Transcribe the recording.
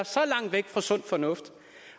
så langt væk fra sund fornuft